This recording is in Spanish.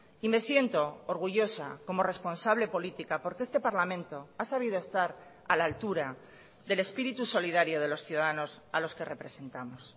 y me siento orgullosa como responsable política porque este parlamento ha sabido estar a la altura del espíritu solidario de los ciudadanos a los que representamos